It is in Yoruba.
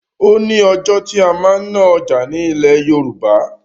O ni ọjọ́ tí a máa ń ná ọjà ni ilẹ̀ Yorùbá.